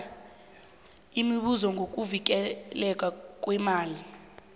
imibuzo ngokuvikelwa kweemali